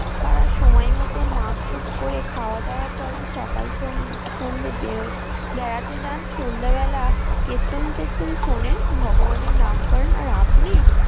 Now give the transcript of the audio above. তারা সময়মতো মাপ যোগ করে খাওয়া দাওয়া করেন সকাল সন্ধ্যে বেড়ন বেড়াতে যান সন্ধ্যাবেলা কেত্তন টেত্তন শোনেন ভগবানের নাম করেন আর আপনি।